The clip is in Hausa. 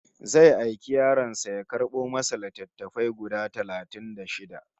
Zai aiki yaron sa ya karɓo masa littattafai guda talatin da shida